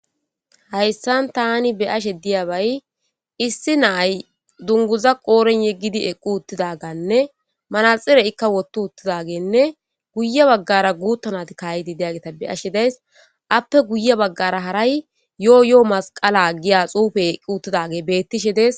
Haysan tani be'ashsha de'iyabay issi na'ay dunguza qoren woththi eqqi uththidaganne maraxinne ekka woththi uththidaganne guye bagara guththa naythi ka'idi diyaggeththa be'ashsha de'ayis appe guye bagara yoyo masiqala diya xuffe betishshe de'es.